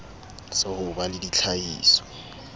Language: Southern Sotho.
sa ho ba le ditlhahiso